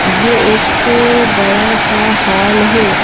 ये एक बड़ा सा हॉल है।